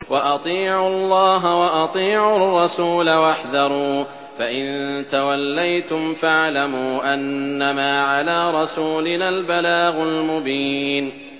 وَأَطِيعُوا اللَّهَ وَأَطِيعُوا الرَّسُولَ وَاحْذَرُوا ۚ فَإِن تَوَلَّيْتُمْ فَاعْلَمُوا أَنَّمَا عَلَىٰ رَسُولِنَا الْبَلَاغُ الْمُبِينُ